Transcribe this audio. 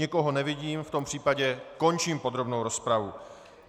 Nikoho nevidím, v tom případě končím podrobnou rozpravu.